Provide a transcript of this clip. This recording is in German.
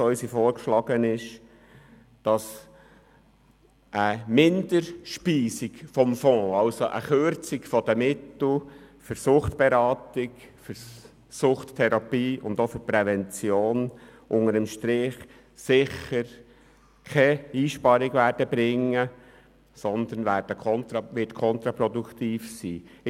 Ich bin sehr dezidiert der Meinung, dass eine Minderspeisung des Fonds – also einer Kürzung der Mittel für Suchtberatung, Suchttherapie und auch für Prävention – unter dem Strich sicher keine Einsparung bringt, sondern kontraproduktiv sein wird.